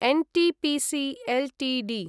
NTPC Ltd